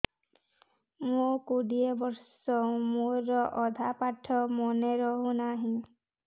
ମୋ କୋଡ଼ିଏ ବର୍ଷ ମୋର ଅଧା ପାଠ ମନେ ରହୁନାହିଁ